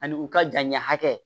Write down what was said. Ani u ka janɲɛ hakɛ